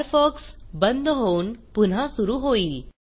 Firefox बंद होऊन पुन्हा सुरू होईल